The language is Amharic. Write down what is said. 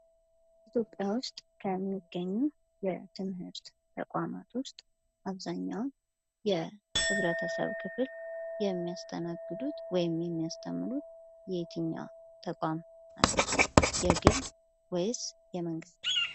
ኢትዮጵያ ውስጥ ከሚገኙ የትምህርት ተቋማት ውስጥ አብዛኛው የህበረተሰብ ክፍል የሚያስተናግዱት ወይም የሚያስተርምሩት የየትኝው ተቋም ናቸው? የግል ወይስ የመንግስት?